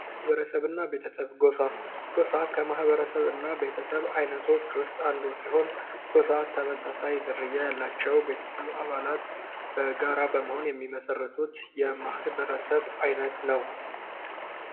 ማህበረሰብ እና ቤተሰብ፦ ጎሳ፦ ጎሳ ከማህበረሰብ እና ቤተሰብ አይነቶች ውስጥ አንዱ ሲሆን ጎሳ ተመሳሳይ ዝርያ ያላቸው ቤተሰብ አባላት በጋራ በመሆን የሚመሠረቱት የማህበረሰብ አይነት ነው።